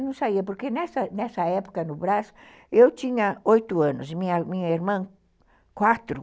A noite, olha, a gente quase não saía, porque nessa época, no Brasil, eu tinha oito anos e minha irmã, quatro.